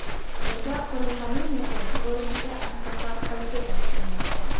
Bunda qurilmaning yakuniy ko‘rinishi ancha farq qilishi ta’kidlanmoqda.